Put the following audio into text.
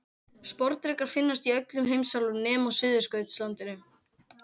Sporðdrekar finnast í öllum heimsálfum nema á Suðurskautslandinu.